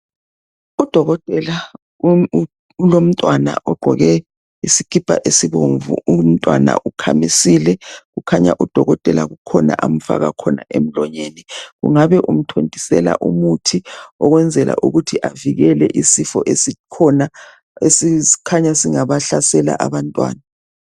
Udokotela ulomntwana ogqoke isikipa esibomvu umntwana ukhamisile kukhanya udokotela kukhona amfaka khona emlonyeni kungabe umthontisela umuthi ukwenzela avikele izifo esikhona esikhanya singabahlasela abantwana.